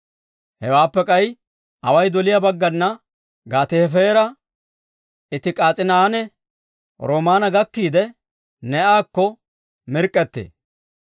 Hewaappe k'ay away doliyaa baggana Gaate-Hefeera, Iiti-K'as'iinanne Rimoona gakkiide, Nee'akko mirk'k'ettee.